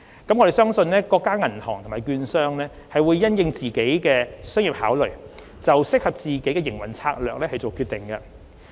我們相信各家銀行或券商會因應自身商業考量就適合自己的營運策略作出決定。